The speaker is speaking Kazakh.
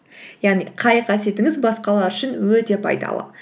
яғни қай қасиетіңіз басқалар үшін өте пайдалы